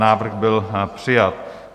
Návrh byl přijat.